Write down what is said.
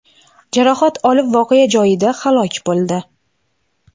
jarohat olib voqea joyida halok bo‘ldi.